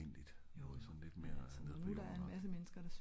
såen lidt mere nede på jorden agtig